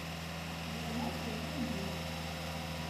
телеканал тнт мьюзик